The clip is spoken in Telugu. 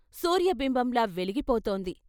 సూర్య బింబంలా వెలిగి పోతోంది.